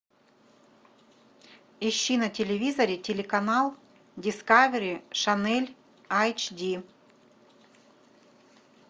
ищи на телевизоре телеканал дискавери шанель айч ди